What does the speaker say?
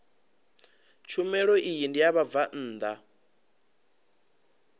tshumelo iyi ndi ya vhabvann